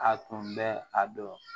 A tun bɛ a dɔn